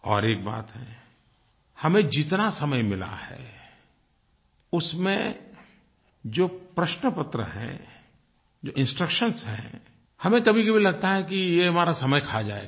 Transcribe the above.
और एक बात है हमें जितना समय मिला है उसमें जो प्रश्नपत्र है जो इंस्ट्रक्शंस हैं हमें कभीकभी लगता है कि ये हमारा समय खा जाएगा